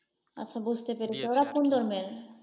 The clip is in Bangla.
আচ্ছা বুঝতে পেরেছি, ওরা